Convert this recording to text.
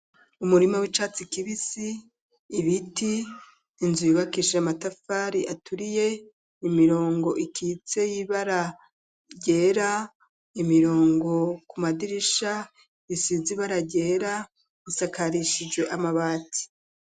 Umurima w'icatsi kibisi, ibiti, inzu yubakishije matafari aturiye, imirongo ikitse y'ibara ryera, imirongo ku madirisha isize ibara ryera, isakarishijwe amabati.